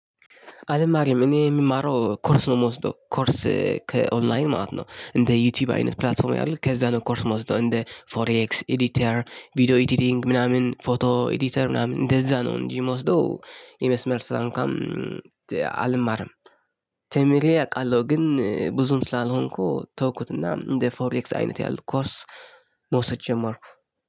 አልማርም! እኔ የምማረው ኮርስ ነው የምወስደው፤ ኮርስ ከኦንላየን ማለት ነው። እንደ ዩቱዩብ አይነት ፕላትፎርም ያሉት ከዛ ነው ኮርስ የምወስደው፤ እንደ ፎሬኤክስ፣ ኤዲትር፣ ቪዲዮ ኤዲቲንግ፣ ምናምን፣ ፎቶ፣ ኤዲተር፣ ምናምን፤ እንደዛ ነው እንጂ የምወስደው የመስመር ስራ እንኳን አልማርም። ተምሬ አውቃለሁ ግን ብዙም ስላልሆንኩ ተውኩትና እንደ ፎርኤክስ አይነት ያለው ኮርስ መውሰድ ጀመርኩ